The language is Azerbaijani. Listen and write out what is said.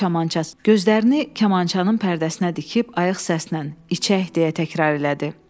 Gözlərini kamançanın pərdəsinə dikib ayıq səslə içək deyə təkrar elədi.